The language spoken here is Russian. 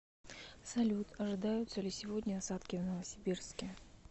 салют ожидаются ли сегодня осадки в новосибирске